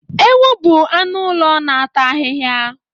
Ewu bụ anụ ụlọ na-ata ahịhịa